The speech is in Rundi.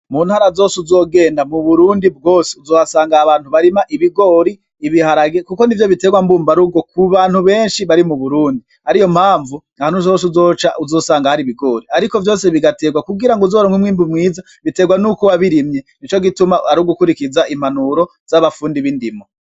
Mu ntara hose uzogenda mu Burundi bwose uzohasanga abantu barima ibigori, ibiharage, kuko nivyo biterwa mbumba rugo mu bantu benshi bari mu Burundi ariyo mpavu ahantu hose uzoca uzohasanga ibigori ariko vyose bigaterwa kugira uzoronke umwimbu mwiza bigaterwa nuko wabirimye nico gituma ari gukurikiza impanuro zabafundi z'indimo.